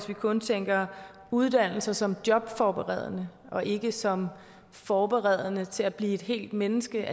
vi kun tænker uddannelser som jobforberedende og ikke som forberedende til at blive hele mennesker